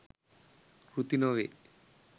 කෘති නොවේ.